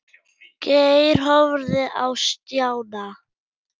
Geir horfði á Stjána.